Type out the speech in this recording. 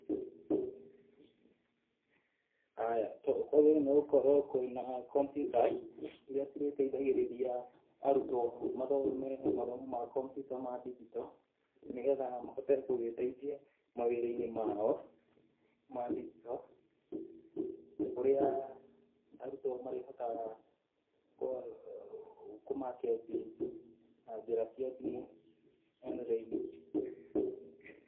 Aya, kwagĩrĩire nĩ gũkorwo kwĩna computers iria cirĩteithagĩrĩria arutwo mathome mathomo ma kompyuta ma ndingito, nĩgetha mahote gũgĩteithia mathomo-inĩ mao ma ndingito, kũrĩa arutwo marihotaga kũ market na njĩra cia thimũ online.